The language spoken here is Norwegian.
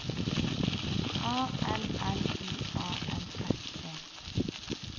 A L L I A N S E